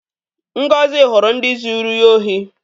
Ngozi hụrụ ndị zuru ya ohi.